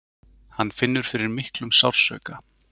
Hann finnur fyrir miklum sársauka.